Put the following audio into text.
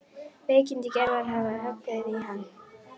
Veikindi Gerðar hafa höggvið í hann.